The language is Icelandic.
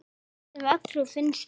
Næstum öllum finnst það.